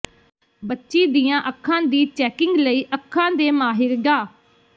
ਬੱਚੀ ਦੀਆਂ ਅੱਖਾਂ ਦੀ ਚੈਕਿੰਗ ਲਈ ਅੱਖਾਂ ਦੇ ਮਾਹਿਰ ਡਾ